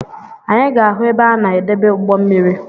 Anyị ga-ahụ ebe a na edebe ugbommiri